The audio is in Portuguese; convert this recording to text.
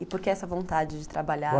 E por que essa vontade de trabalhar?